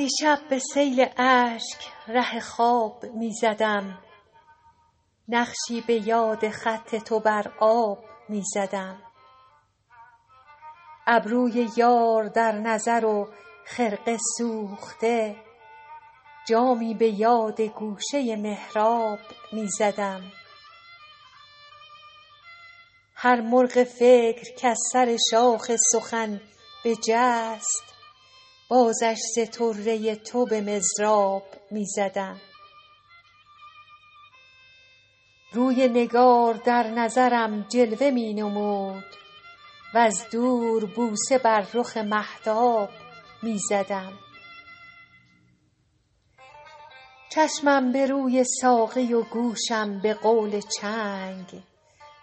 دیشب به سیل اشک ره خواب می زدم نقشی به یاد خط تو بر آب می زدم ابروی یار در نظر و خرقه سوخته جامی به یاد گوشه محراب می زدم هر مرغ فکر کز سر شاخ سخن بجست بازش ز طره تو به مضراب می زدم روی نگار در نظرم جلوه می نمود وز دور بوسه بر رخ مهتاب می زدم چشمم به روی ساقی و گوشم به قول چنگ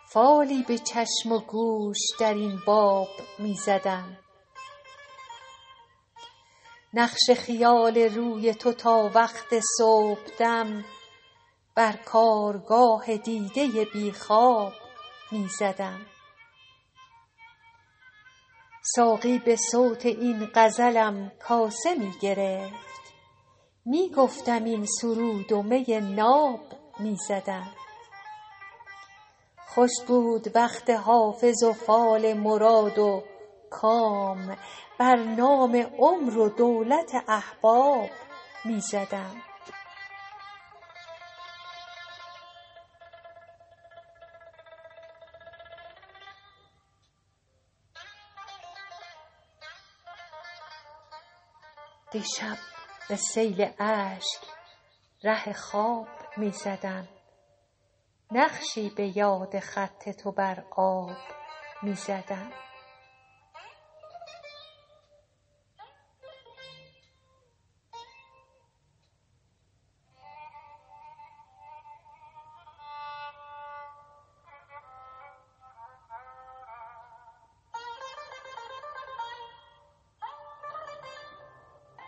فالی به چشم و گوش در این باب می زدم نقش خیال روی تو تا وقت صبحدم بر کارگاه دیده بی خواب می زدم ساقی به صوت این غزلم کاسه می گرفت می گفتم این سرود و می ناب می زدم خوش بود وقت حافظ و فال مراد و کام بر نام عمر و دولت احباب می زدم